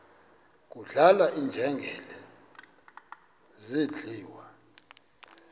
kudlala iinjengele zidliwa